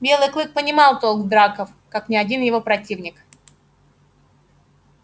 белый клык понимал толк в драках как ни один его противник